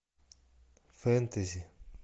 фэнтези